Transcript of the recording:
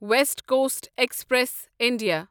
waste Coast Express India